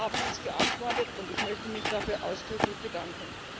Sie haben uns geantwortet, und ich möchte mich dafür ausdrücklich bedanken.